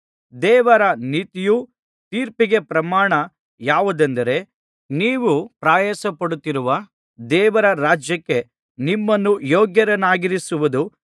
ದೇವರ ನೀತಿಯುಳ್ಳ ತೀರ್ಪಿಗೆ ಪ್ರಮಾಣ ಯಾವುದೆಂದರೆ ನೀವು ಪ್ರಯಾಸಪಡುತ್ತಿರುವ ದೇವರ ರಾಜ್ಯಕ್ಕೆ ನಿಮ್ಮನ್ನು ಯೋಗ್ಯರನ್ನಾಗಿಸುವುದು